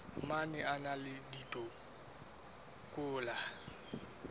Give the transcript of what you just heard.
mang a na le dikotola